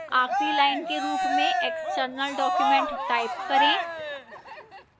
आखिरी line के रूप में external document type करें